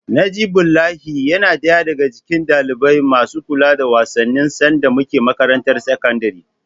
Najibullahi yana ɗaya daga cikin ɗalibai masu kula da wasanni sanda muna makarantar sakandare.